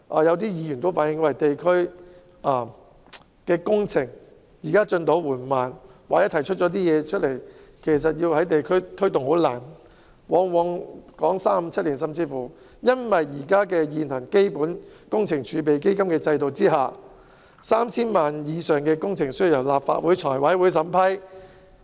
有些議員有時候反映地區工程的進展緩慢，或是所提出的建議難以在地區推動，動輒要討論數年，原因是在基本工程儲備基金制度下，涉及 3,000 萬元以上的工程都必須由立法會財務委員會審批。